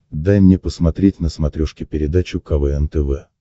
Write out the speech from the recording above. дай мне посмотреть на смотрешке передачу квн тв